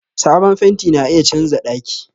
Sabon fenti na iya canza daki.